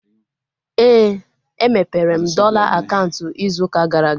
Éè, e mepere m dọla akaụntụ ịzụ ụka gara aga